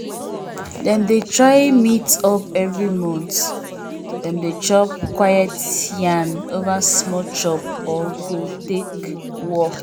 dem dey try meet up every month dem dey chop quiet yarn over small chop or go take walk.